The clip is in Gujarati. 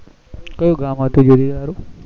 કયું ગામ હતું